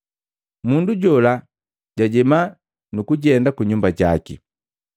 Mundu jola jajema nukujenda kunyumba jaki.